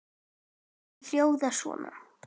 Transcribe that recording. Þær hljóða svona